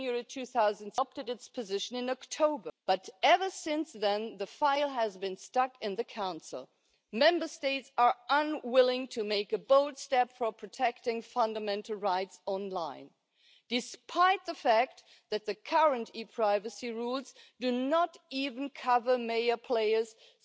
to evaluate in the future whether to extend the scope of the regulation and to include all EU law enforcement agencies in order to increase the legal consistency of data transfers between EU bodies and agencies, increase mutual trust and data exchange between data agencies, as well as legal certainty for data subjects.